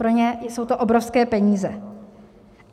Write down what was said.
Pro ně jsou to obrovské peníze.